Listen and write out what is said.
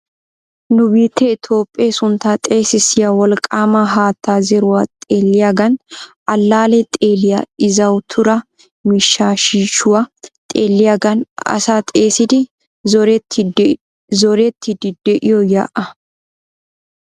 Nu biittee Toophe suntta xeessisiya wolqqama haatta zeeruwaa xeelliyaagan allaale xeelliya izzawatuura miishshaa shiishshuwaa xeelliyaagan asaa xeessidi zorettidi de'iyoo yaa'aa.